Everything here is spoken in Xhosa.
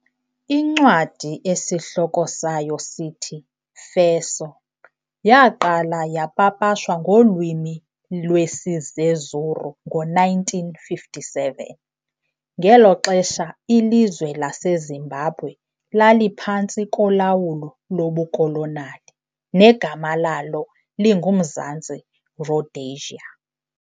Incwadi esihloko sayo sithi"Feso","yaaqala yapapashwa ngolwimi lwesiZezuru ngo-1957, ngelo xesha ilizwe laseZimbabwe laliphantsi kolawulo lobukolonali negama lalo linguMzantsi Rhodesia.